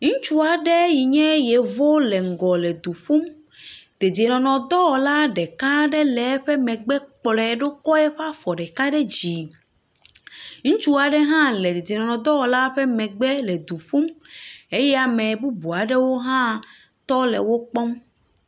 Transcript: Ŋutsu aɖe yi nye Yevo le ŋgɔ le du ƒum. Dedienɔnɔdɔwɔla ɖeka le eƒe megbe kplɔe ɖo kɔ eƒe afɔ ɖeka ɖe dzi. Ŋutsu aɖe hã le dedienɔnɔdɔwɔla ƒe megbe le du ƒum eye ame bubu aɖewo hã tɔ le wo kpɔm.